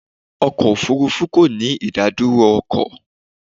Ọkọ̀ òfúrúfú kò ní ìdádúró ọkọ̀.